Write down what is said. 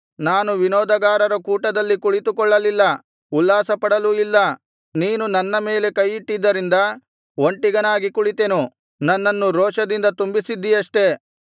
ನಾನು ವಿನೋದಗಾರರ ಕೂಟದಲ್ಲಿ ಕುಳಿತುಕೊಳ್ಳಲಿಲ್ಲ ಉಲ್ಲಾಸಪಡಲೂ ಇಲ್ಲ ನೀನು ನನ್ನ ಮೇಲೆ ಕೈಯಿಟ್ಟಿದ್ದರಿಂದ ಒಂಟಿಗನಾಗಿ ಕುಳಿತೆನು ನನ್ನನ್ನು ರೋಷದಿಂದ ತುಂಬಿಸಿದ್ದಿಯಷ್ಟೆ